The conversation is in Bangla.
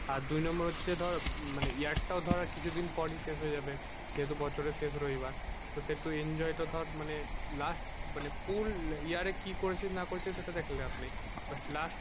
আর দুই number হচ্ছে ধর মানে year টাও ধর আর কিছু দিন পর শেষ হয়ে যাবে এইতো বছরে শেষ রবিবার তো সে তো enjoy টা ধর মানে last মানে full year এ কি করেছিস না করেছিস সেটা দেখে লাভ নেই but last